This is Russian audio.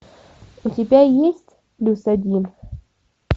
у тебя есть плюс один